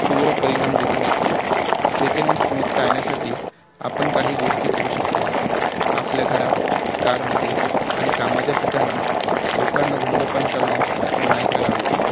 तीव्र परिणाम दिसुन येतो second hand smoke टाळण्यासाठी आपण काही गोष्टी करू शकतो आपल्या घरात car मध्ये आणि कामाच्या ठिकाणी लोकांना धूम्रपान करण्यास मनाई करावी